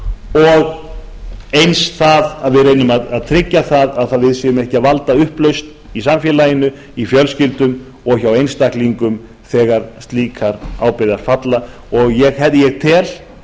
og eins það að við reynum að tryggja að við séum ekki að valda upplausn í samfélaginu í fjölskyldum og hjá einstaklingum þegar slíkar ábyrgðir falla ég tel